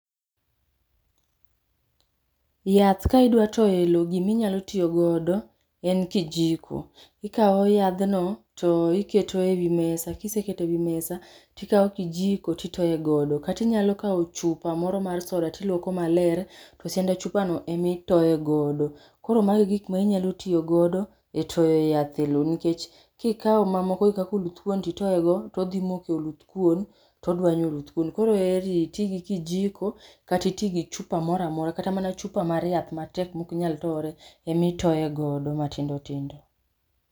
yath ka idwa toyo e lo giminyalo tiyo godo, en kijiko. ikaw yadhno, to iketo ewi mesa, kiseketo ewi mesa, tikaw kijiko titoye godo katinyalo kaw chupa moro mar soda tiluoko maler, to sianda chupano emitoye godo. Koro mago e gik ma inyalo tiyo godo e toyo yath e lo nikech kikaw mamoko gi kaka oluth kuon titoye go, todhi moko e oluth kuon, todwanyo oluth kuon. Koro heri iti gi kijiko kati iti gi chupa moramora kata mana chupa mar yath matek mok nyal tore, emi itoye godo matindotindo